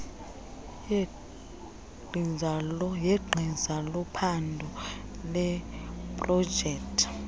yegqiza lophando leeprojekthi